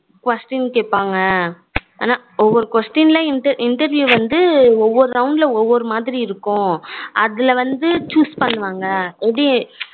question கேப்பாங்க ஆனா ஒவ்வொரு question interview வந்து ஒவ்வொரு round ல வந்து ஒவ்வொரு மாதிரி இருக்கும் அதுல வந்து choose பண்ணுவாங்க